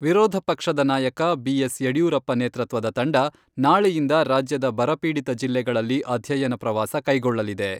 ವಿರೋಧ ಪಕ್ಷದ ನಾಯಕ ಬಿ.ಎಸ್. ಯಡಿಯೂರಪ್ಪ ನೇತೃತ್ವದ ತಂಡ, ನಾಳೆಯಿಂದ ರಾಜ್ಯದ ಬರಪೀಡಿತ ಜಿಲ್ಲೆಗಳಲ್ಲಿ ಅಧ್ಯಯನ ಪ್ರವಾಸ ಕೈಗೊಳ್ಳಲಿದೆ.